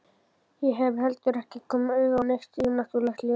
Ég hef heldur ekki komið auga á neitt yfirnáttúrlegt ljós.